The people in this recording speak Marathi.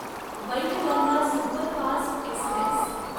Wainganga superfast Express